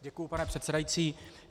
Děkuji, pane předsedající.